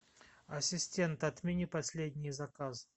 ассистент отмени последний заказ